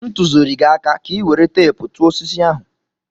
M tụziri gi aka ka ị were teepu tụọ osisi ahụ.